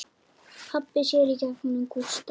Pabbi sér í gegnum Gústa.